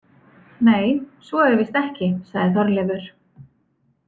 Nei, svo er víst ekki, sagði Þorleifur.